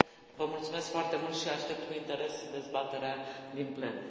Vă mulțumesc foarte mult și aștept cu interes dezbaterea din plen.